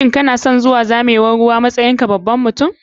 Shin kanason zuwa zamewan ruwa ko harɓe harɓen ruwa a matsayin ka baban mutum?